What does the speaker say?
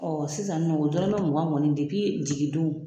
Ɔ sisan nɔ dɔrɔmɛ mugan kɔni jigindon